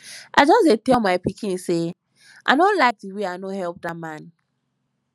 i just dey tell my pikin say i no like the way i no help dat man